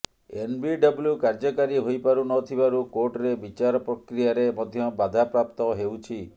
NBW କାର୍ଯ୍ୟକାରୀ ହୋଇପାରୁନଥିବାରୁ କୋର୍ଟରେ ବିଚାର ପ୍ରକ୍ରିୟାରେ ମଧ୍ୟ ବାଧାପ୍ରାପ୍ତ ହେଉଛି